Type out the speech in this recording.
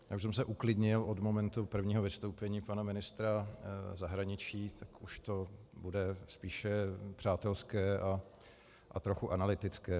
Já už jsem se uklidnil od momentu prvního vystoupení pana ministra zahraničí, tak už to bude spíše přátelské a trochu analytické.